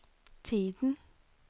tiden